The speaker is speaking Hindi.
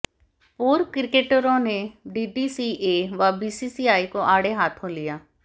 पूर्व क्रिकेटरों ने डीडीसीए व बीसीसीआई को आड़े हाथों लिया